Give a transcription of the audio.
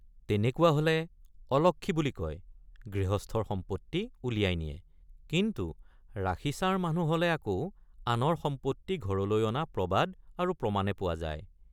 তেনেকুৱা হলে অলক্ষী বুলি কয় গৃহস্থৰ সম্পত্তি উলিয়াই নিয়ে কিন্তু ৰাশিছাৰ মানুহ হলে আকৌ আনৰ সম্পত্তি ঘৰলৈ অনা প্ৰবাদ আৰু প্ৰমাণে পোৱা যায়।